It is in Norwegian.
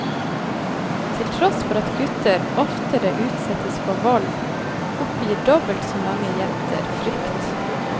Til tross for at gutter oftere utsettes for vold, oppgir dobbelt så mange jenter frykt.